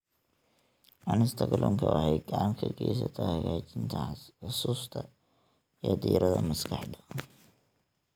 Cunista kalluunka waxay gacan ka geysataa hagaajinta xusuusta iyo diiradda maskaxda.